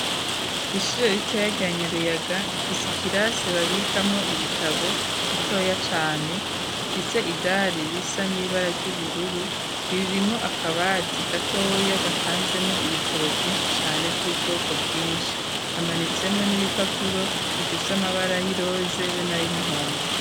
Ishire ritoya rya Nyaruyaga rifise ikirase babikamwo ibitabo gitoya cane gifise idari risa n'ibara ry'ubururu ririmwo akabati gatoya gapanzemwo ibitabo vyinshi cane vy'ubwoko bwinshi hamanitsemwo n'ibipapuro bifise amabara yiroze be n'ayumuhondo.